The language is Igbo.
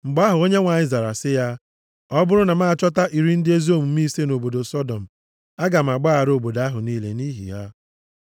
Mgbe ahụ, Onyenwe anyị zara sị ya, “Ọ bụrụ na m achọta iri ndị ezi omume ise nʼobodo Sọdọm, aga m agbaghara obodo ahụ niile nʼihi ha.”